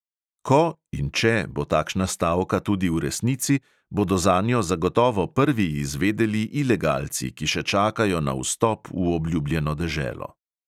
Ko (in če) bo takšna stavka tudi v resnici, bodo zanjo zagotovo prvi izvedeli ilegalci, ki še čakajo na vstop v obljubljeno deželo.